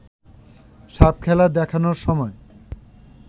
সাপখেলা দেখানোর সময়